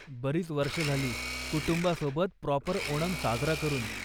बरीच वर्ष झाली कुटुंबासोबत प्रॉपर ओनम साजरा करून.